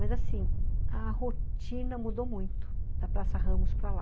Mas, assim, a rotina mudou muito, da Praça Ramos para lá.